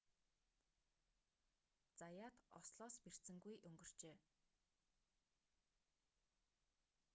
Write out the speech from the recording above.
заяат ослоос бэртсэнгүй өнгөрчээ